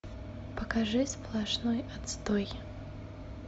покажи сплошной отстой